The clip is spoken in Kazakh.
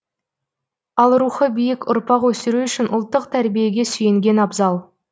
ал рухы биік ұрпақ өсіру үшін ұлттық тәрбиеге сүйенген абзал